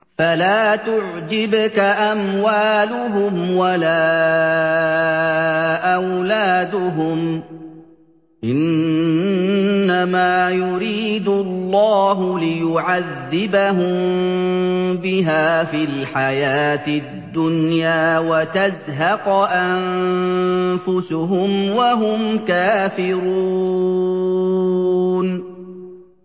فَلَا تُعْجِبْكَ أَمْوَالُهُمْ وَلَا أَوْلَادُهُمْ ۚ إِنَّمَا يُرِيدُ اللَّهُ لِيُعَذِّبَهُم بِهَا فِي الْحَيَاةِ الدُّنْيَا وَتَزْهَقَ أَنفُسُهُمْ وَهُمْ كَافِرُونَ